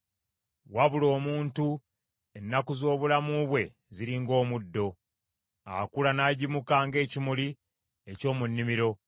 Wabula omuntu, ennaku z’obulamu bwe ziri ng’omuddo; akula n’agimuka ng’ekimuli eky’omu nnimiro;